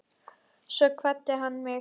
Svo kvaddi hann mig.